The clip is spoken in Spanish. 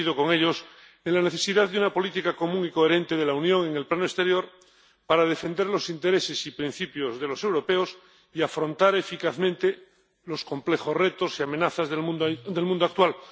Coincido con ellos en la necesidad de una política común y coherente de la Unión en el plano exterior para defender los intereses y principios de los europeos y afrontar eficazmente los complejos retos y amenazas del mundo actual.